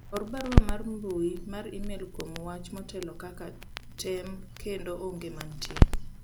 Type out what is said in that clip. or barua mar mbui mar email kuom wach motelo kaka tem kendo onge manitie